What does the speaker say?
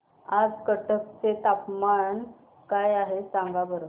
आज कटक चे तापमान काय आहे सांगा बरं